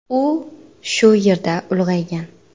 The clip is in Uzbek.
U shu yerda ulg‘aygan.